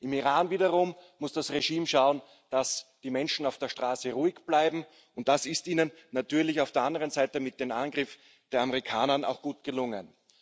Im Iran wiederum muss das Regime schauen, dass die Menschen auf der Straße ruhig bleiben, und das ist ihm natürlich auf der anderen Seite mit dem Angriff der Amerikaner auch gut gelungen.